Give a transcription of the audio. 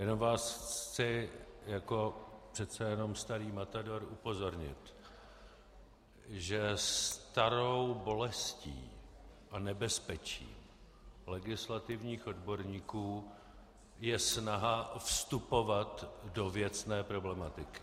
Jenom vás chci jako přece jenom starý matador upozornit, že starou bolestí a nebezpečím legislativních odborníků je snaha vstupovat do věcné problematiky.